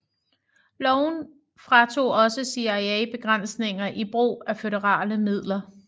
Loven fratog også CIA begrænsninger i brug af føderale midler